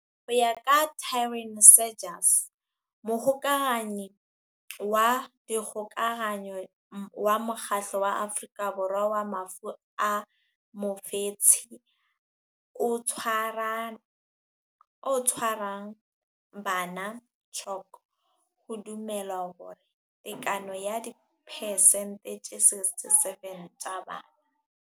Ho ya ka Taryn Seegers, Mohokahanyi wa Dikgokahanyo wa Mokgatlo wa Afrika Borwa wa Mafu a Mofetshe o Tshwarang Bana CHOC, ho dumelwa hore tekano ya diphesente tse 67 tsa bana.